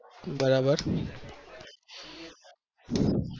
બરાબર